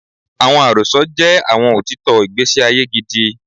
Awọn arosọ jẹ awọn otitọ igbesi aye gidi